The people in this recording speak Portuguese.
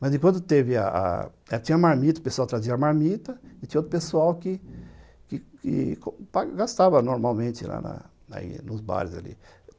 Mas enquanto teve a a a... tinha a marmita, o pessoal trazia a marmita, e tinha outro pessoal que... que que gastava normalmente lá na... nos bares ali.